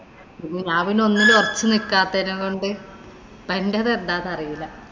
ഞാന്‍ പിന്നെ ഒന്നിലും ഒറച്ചു നിക്കാത്തെനേ കൊണ്ട് ഇപ്പൊ എന്‍റേത് എന്താന്നറിയില്ല.